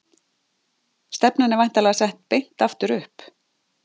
Stefnan er væntanlega sett beint aftur upp?